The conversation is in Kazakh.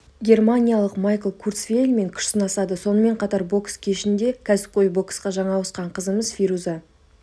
германиялық майкл курцвейлмен күш сынасады сонымен қатар бокс кешінде кәсіпқой боксқа жаңа ауысқан қызымыз фируза